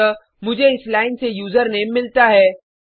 अतः मुझे इस लाइन से यूजरनेम मिलता है